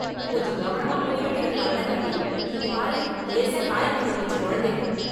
கொஞ்சம் கவனமா முடி வெட்டிருக்கலாம்ல தம்பி, இங்க பாரு லேசா காயமாகி போச்சு கொழந்தைக்கு.